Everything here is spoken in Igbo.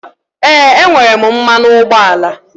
Ee, enwere m mmanụ ụgbọala.